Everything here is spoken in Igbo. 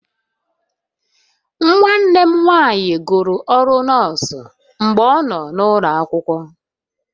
Nwanne m nwanyị gụrụ ọrụ nọọsụ mgbe ọ nọ n'ụlọ akwụkwọ